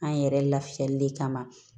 An yɛrɛ lafiyali de kama